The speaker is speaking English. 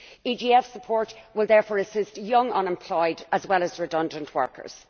EGF support will therefore assist young unemployed as well as redundant workers.